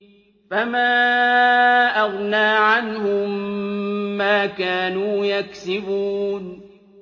فَمَا أَغْنَىٰ عَنْهُم مَّا كَانُوا يَكْسِبُونَ